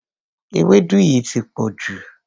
Ewédú yìí ti pọ̀jù.